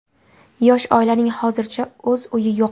Yosh oilaning hozircha o‘z uyi yo‘q.